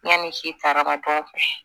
Yanni si taara ka taa